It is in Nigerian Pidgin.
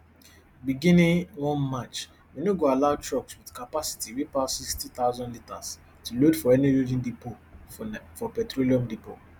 beginning one march we no no go allow trucks wit capacity wey pass sixty thousand litres to load for any loading depot for petroleum depots